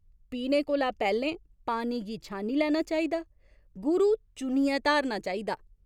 पीने कोला पैह्‌लें पानी गी छानी लैना चाहिदा, गुरु चुनियै धारणा चाहिदा।